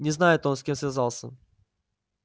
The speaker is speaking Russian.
не знает он с кем связался